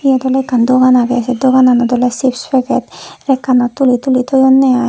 iyot ole ekkan dogan agey se doganot ole chips packet rekkanot tuli tuli thoyonne ai.